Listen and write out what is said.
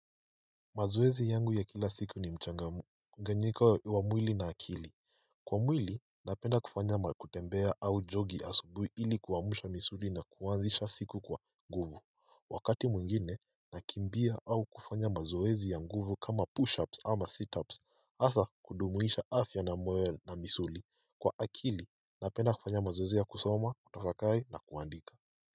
Mazoezi yangu ya kila siku ni mchanga nganyika wa mwili na akili Kwa mwili napenda kufanya makutembea au jogi asubui ili kuwamusha misuri na kuwanzisha siku kwa nguvu Wakati mwingine nakimbia au kufanya mazoezi ya nguvu kama push ups ama sit ups Asa kudumuisha afya na moe na misuri kwa akili napenda kufanya mazoezi ya kusoma kutafakai na kuandika.